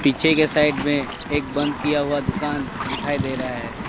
पीछे के साइड में एक बंद किया हुआ दुकान दिखाई दे रहा है।